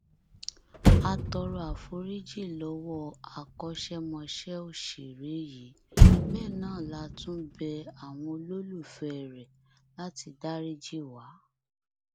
a tọrọ àforíjì lọwọ akọṣẹmọṣẹ òṣèré yìí bẹẹ náà látún bẹ àwọn olólùfẹẹ rẹ láti dariji wá